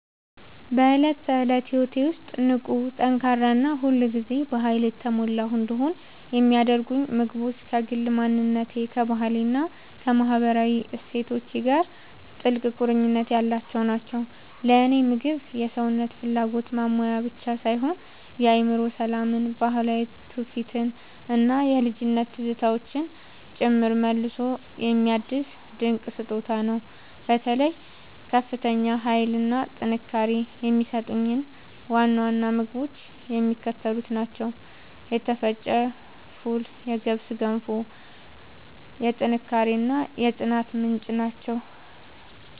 በዕለት ተዕለት ሕይወቴ ውስጥ ንቁ፣ ጠንካራ እና ሁል ጊዜ በኃይል የተሞላሁ እንድሆን የሚያደርጉኝ ምግቦች ከግል ማንነቴ፣ ከባህሌ እና ከማህበራዊ እሴቶቼ ጋር ጥልቅ ቁርኝት ያላቸው ናቸው። ለእኔ ምግብ የሰውነትን ፍላጎት ማሟያ ብቻ ሳይሆን የአእምሮ ሰላምን፣ ባህላዊ ትውፊትን እና የልጅነት ትዝታዎችን ጭምር መልሶ የሚያድስ ድንቅ ስጦታ ነው። በተለይ ከፍተኛ ኃይል እና ጥንካሬ የሚሰጡኝን ዋና ዋና ምግቦች የሚከተሉት ናቸው የተፈጨ ፉል የገብስ ገንፎ፦ የጥንካሬ እና የጽናት ምንጭ